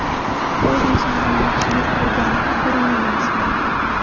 U insondan yaxshilik ko‘rgan bir men emasman.